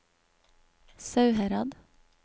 Sauherad